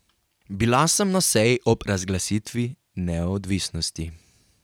Bila sem na seji ob razglasitvi neodvisnosti.